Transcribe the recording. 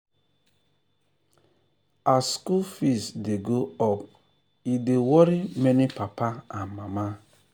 as school fees dey go up e dey worry many papa and mama.